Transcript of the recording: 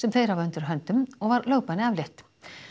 þeir hafa undir höndum og var lögbanni aflétt